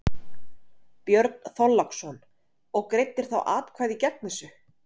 Björn Þorláksson: Og greiddir þá atkvæði gegn þessu?